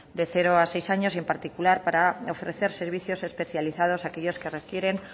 de cero a seis años y en particular para ofrecer servicios especializados aquellos que requieren